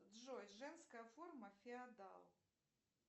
джой женская форма феодал